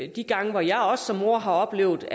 de gange hvor jeg som mor har oplevet